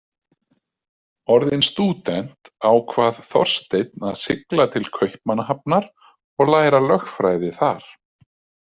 Orðinn stúdent, ákvað Þorsteinn að sigla til Kaupmannahafnar og læra lögfræði þar.